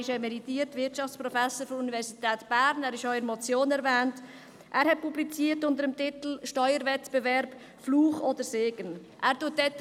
Er ist emeritierter Wirtschaftsprofessor der Universität Bern, er ist auch in der Motion erwähnt und hat unter dem Titel «Steuerwettbewerb: Fluch oder Segen?» publiziert.